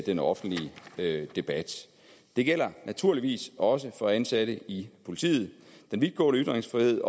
den offentlige debat det gælder naturligvis også for ansatte i politiet den vidtgående ytringsfrihed